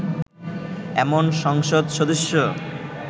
এমন সংসদ সদস্য